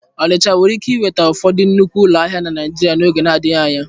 Ọnịcha nwere ike nweta ụfọdụ nnukwu ụlọ ahịa na Naịjirịa n'oge adịghị anya.